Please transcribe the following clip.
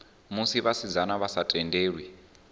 musi vhasidzana vha sa tendelwi